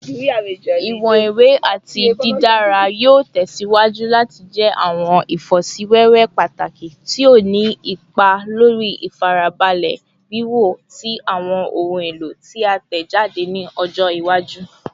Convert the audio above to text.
Iwọn iwe ati didara yoo tẹsiwaju lati jẹ awọn ifosiwewe pataki ti o ni ipa lori ifarabalẹ wiwo ti awọn ohun elo ti a tẹjade ni ọjọ iwaju